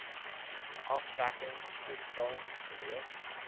aftrekking toegestaan gewees